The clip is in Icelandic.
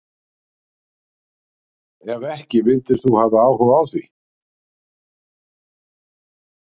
Ef ekki myndir þú hafa áhuga á því?